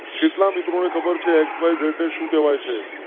કેટલા મિત્રો ને ખબર છે XYZ શું કહેવાય છે?